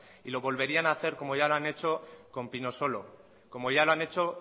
y lo volverían a hacer como ya lo han hecho con pinosolo como ya lo han hecho